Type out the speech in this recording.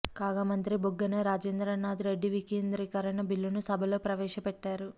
కాగా మంత్రి బుగ్గన రాజేంద్రనాధ్ రెడ్డి వికేంద్రీకరణ బిల్లును సభలో ప్రవేశపెట్టారు